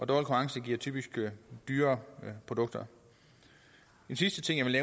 konkurrence giver typisk dyrere produkter en sidste ting jeg vil